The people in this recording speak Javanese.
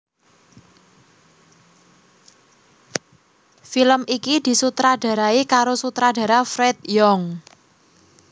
Film iki disutradarai karo sutradara Fred Young